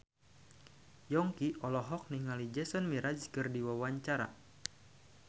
Yongki olohok ningali Jason Mraz keur diwawancara